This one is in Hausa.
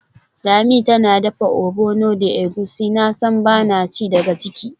Lami tana dafa ogbono da egusi, nasan bana ci daga ciki.